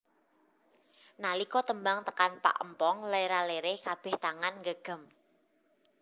Nalika tembang tekan pak empong lera lere kabeh tangan nggegem